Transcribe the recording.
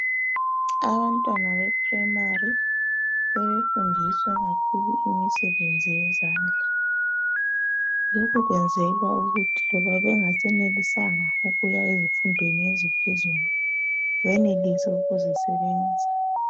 Abantwana be primary sebefundiswa kakhulu imisebenzi yezandla. Lokhu kwenzelwa ukuthi loba bengasenelisanga ukuya emfundweni eziphezulu benelise ukuzisebenza.